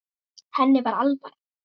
Henni var alvara.